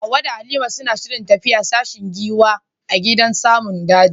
Hawwa da Halima suna shirin tafiya sashen giwa a gidan namun daji.